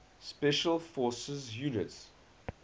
special forces units